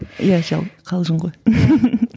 иә жалпы қалжың ғой